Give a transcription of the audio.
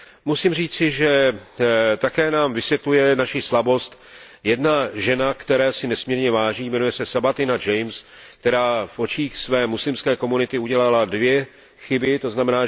Musím říci, že také nám vysvětluje naši slabost jedna žena, které si nesmírně vážím, jmenuje se Sabatina James, která v očích své muslimské komunity udělala dvě chyby, tzn.